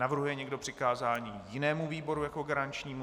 Navrhuje někdo přikázání jinému výboru jako garančnímu?